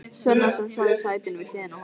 Svenna, sem svaf í sætinu við hliðina á honum.